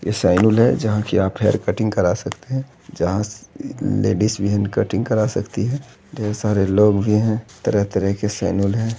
ये सैलून है जहाँ की आप हेयर कटिंग करा सकते हैं| जहाँ लेडीज भी इन कटिंग करा सकती हैं ढेर सारे लोग भी हैं तरह-तरह के सैलून है।